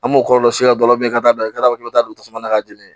An b'o kɔlɔlɔ si dɔ la bi ka bila i ka k'i ka taa don tasuma na ka jeni